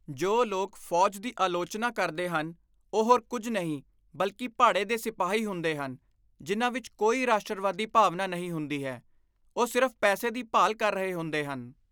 ਜੋ ਲੋਕ ਫੌਜ ਦੀ ਆਲੋਚਨਾ ਕਰਦੇ ਹਨ, ਉਹ ਹੋਰ ਕੁਝ ਨਹੀਂ ਬਲਕਿ ਭਾੜੇ ਦੇ ਸਿਪਾਹੀ ਹੁੰਦੇ ਹਨ ਜਿਨ੍ਹਾਂ ਵਿੱਚ ਕੋਈ ਰਾਸ਼ਟਰਵਾਦੀ ਭਾਵਨਾ ਨਹੀਂ ਹੁੰਦੀ ਹੈ। ਉਹ ਸਿਰਫ਼ ਪੈਸੇ ਦੀ ਭਾਲ ਕਰ ਰਹੇ ਹੁੰਦੇ ਹਨ।